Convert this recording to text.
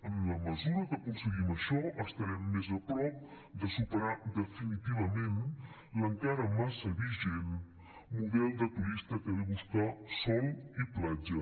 en la mesura que aconseguim això estarem més a prop de superar definitivament l’encara massa vigent model de turista que ve a buscar sol i platja